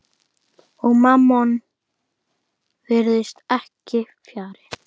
Og Mammon virðist ekki fjarri.